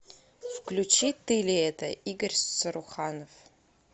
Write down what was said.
включи ты ли это игорь саруханов